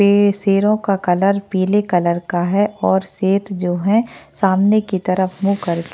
पे शेरो का कलर पीले कलर का है और शेर जो है सामने की तरफ मुँह करके --